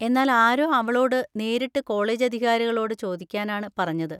എന്നാൽ ആരോ അവളോട് നേരിട്ട് കോളേജധികാരികളോട് ചോദിക്കാനാണ് പറഞ്ഞത്.